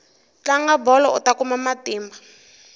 tlanga bolo uta kuma matimba